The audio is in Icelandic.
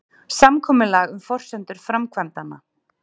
Samkomulag um forsendur framkvæmdanna